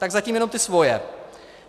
Tak zatím jenom ty svoje.